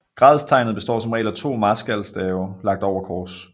Gradstegnet består som regel af to marskalstave lagt over kors